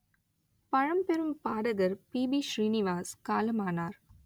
பழம்பெரும் பாடகர் P B Srinivas காலமானார்